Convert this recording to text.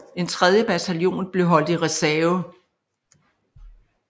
En tredje bataljon blev holdt i reserve